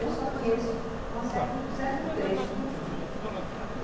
Eu só conheço um certo trecho do rio.